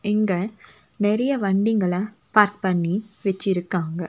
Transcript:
இங்க நெறைய வண்டிங்கள பார்க் பண்ணி வச்சிருக்காங்க.